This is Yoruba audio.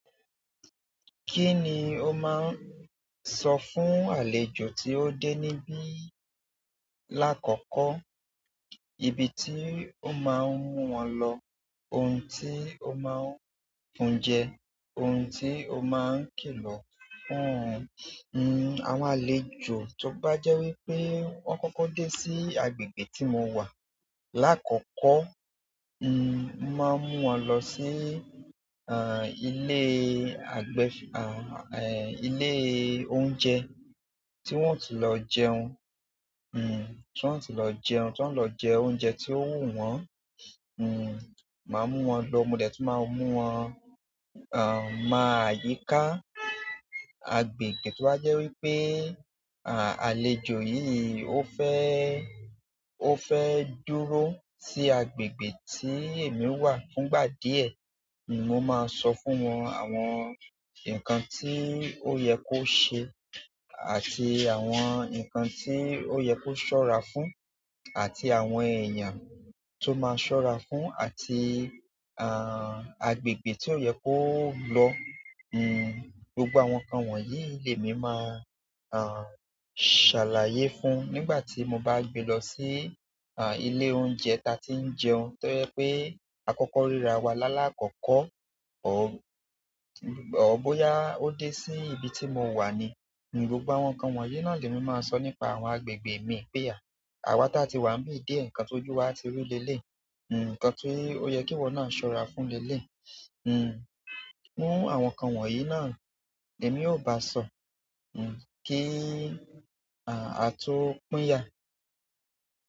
Kí ni o máa ń sọ fún àlejò tí ó dé níbí lákòókò? Ibi tí o máa ń mú wọn lọ, ohun tí o máa ń fún jẹ, ohun tí o máa ń kìlọ̀ fún un. Hmm, àwọn àlejò tó bá jẹ́ wí pé wọ́n kọ́kọ́ dé sí agbègbè tí mo wà lákọ̀ọ́kílọ, hmm, máa mú wọn lọ sí, ah, ilé àgbẹ̀, ah, eh, ilé oúnjẹ tí wọ́n ó ti lọ jẹun. Ti wọn o tí lọ jẹun to wọn o lọ jẹ oúnjẹ tó wù wọn hmm, màá mú wọn lọ. Mo dẹ̀ tún máa mú wọn, ah, máa yíká agbègbè tí ó jẹ́ wí pé, ah, àlejò yìí ó fẹ́, ó fẹ́ dúró sí agbègbè tí èmi wà fún ìgbà díẹ̀. Mo máa sọ fún wọn àwọn nǹkan tí ó yẹ kó ṣe àti àwọn nǹkan tí ó yẹ kó ṣọ́ra fún àti àwọn èèyàn tó máa ṣọ́ra fún àti, ah, agbègbè tí ó yẹ kó lọ. Hmm, gbogbo àwọn nǹkan wọ̀nyí ni èmi máa, ah, ṣàlàyé fún nígbà tí mo bá gbé lọ sí, ah, ilé oúnjẹ ta tí ń jẹun. To jẹ pé àkọ́kọ́ ríra wa lálákọọkọ, ọ̀, ọ̀ bóyá ó dé sí ibi tí mo wà ni, gbogbo àwọn nǹkan wọ̀nyí náà ni èmi máa sọ nípa àwọn agbègbè mi pé à. Àwa táa ti wà níbí díẹ̀, nǹkan tó jú wa ti rí lélé yi. Hmm, nǹkan tí ó yẹ kí wọn náà ṣọ́ra fún lélẹ̀. Hmm, irú àwọn nǹkan wọ̀nyí náà, èmi ò bá sọ, hmm, kí, ah, a tó pín yà.